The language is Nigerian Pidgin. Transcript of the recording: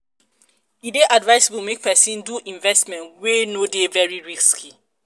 e dey advisable make person do investment wey no dey very risky